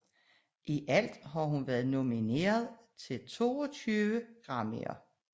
I alt har hun været nomineret til 22 Grammyer